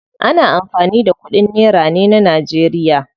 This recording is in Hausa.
Ana amfani da kudin nera ne najeriya.